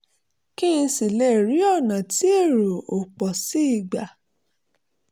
kí n sì lè rí ọ̀nà tí èrò ò pọ̀ sí gbà